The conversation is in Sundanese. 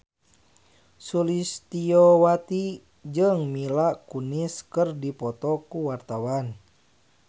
Sulistyowati jeung Mila Kunis keur dipoto ku wartawan